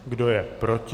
Kdo je proti?